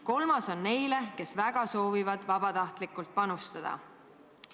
Kolmas on neile, kes väga soovivad vabatahtlikult panustada".